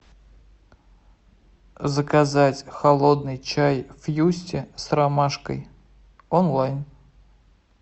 заказать холодный чай фьюсти с ромашкой онлайн